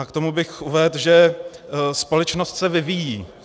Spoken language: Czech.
A k tomu bych uvedl, že společnost se vyvíjí.